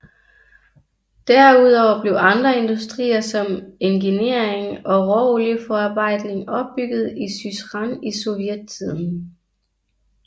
Derudover blev andre industrier som engineering og råolieforarbejdning opbygget i Syzran i sovjetiden